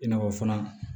I n'a fɔ fana